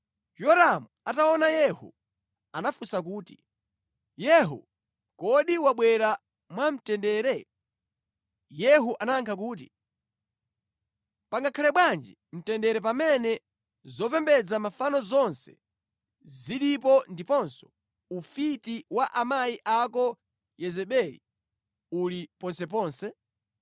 Yoramu ataona Yehu anafunsa kuti, “Yehu, kodi wabwera mwamtendere?” Yehu anayankha kuti, “Pangakhale bwanji mtendere pamene zopembedza mafano zonse zilipo ndiponso ufiti wa amayi ako Yezebeli uli ponseponse?”